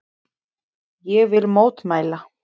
Ég vil mótmæla.